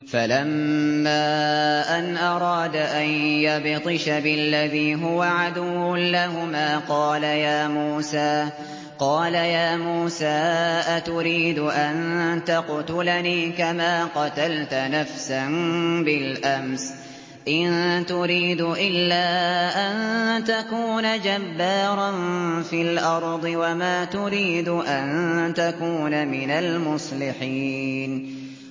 فَلَمَّا أَنْ أَرَادَ أَن يَبْطِشَ بِالَّذِي هُوَ عَدُوٌّ لَّهُمَا قَالَ يَا مُوسَىٰ أَتُرِيدُ أَن تَقْتُلَنِي كَمَا قَتَلْتَ نَفْسًا بِالْأَمْسِ ۖ إِن تُرِيدُ إِلَّا أَن تَكُونَ جَبَّارًا فِي الْأَرْضِ وَمَا تُرِيدُ أَن تَكُونَ مِنَ الْمُصْلِحِينَ